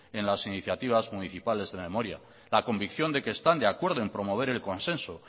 en las iniciativas municipales de memoria la convicción de que están de acuerdo en promover el consenso